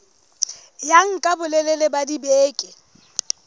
ya nka bolelele ba dibeke